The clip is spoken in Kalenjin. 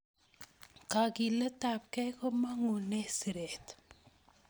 Kakilet tab gei komangune siret